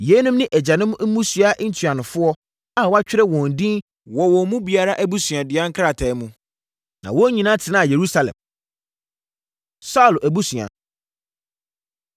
Yeinom ne agyanom mmusua ntuanofoɔ a wɔatwerɛ wɔn din wɔ wɔn mu biara abusuadua nkrataa mu. Na wɔn nyinaa tenaa Yerusalem. Saulo Abusua